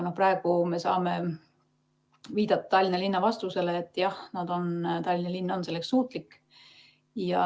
Praegu me saame viidata Tallinna linna vastusele, et jah, Tallinna linn on selleks suutlik.